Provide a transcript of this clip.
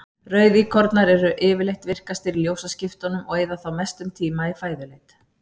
Rauðíkornar eru yfirleitt virkastir í ljósaskiptunum og eyða þá mestum tíma í fæðuleit.